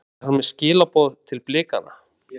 Er hann með skilaboð til Blikana?